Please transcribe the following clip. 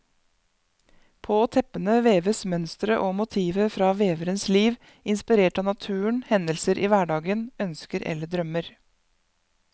På teppene veves mønstre og motiver fra veverens liv, inspirert av naturen, hendelser i hverdagen, ønsker eller drømmer.